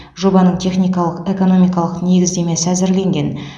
жобаның техникалық экономикалық негіздемесі әзірленген